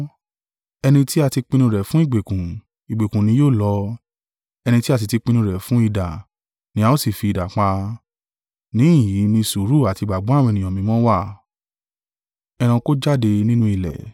Ẹni tí a ti pinnu rẹ̀ fún ìgbèkùn, ìgbèkùn ni yóò lọ; ẹni tí a sì ti pinnu rẹ̀ fún idà, ni a ó sì fi idà pa. Níhìn-ín ni sùúrù àti ìgbàgbọ́ àwọn ènìyàn mímọ́ wà.